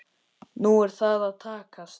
Nú er það að takast.